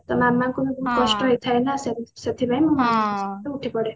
ତ ମାମାଙ୍କୁ ବି ବହୁତ କଷ୍ଟ ହେଇଥାଏ ନା ସେଥିପାଇଁ ମୁଁ ଶୀଘ୍ର ଉଠିପଡେ